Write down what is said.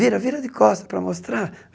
Vira, vira de costa para mostrar.